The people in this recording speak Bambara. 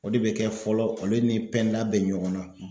O de bɛ kɛ fɔlɔ olu ni bɛ ɲɔgɔn na.